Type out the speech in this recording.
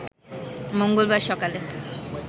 মঙ্গলবার সকালে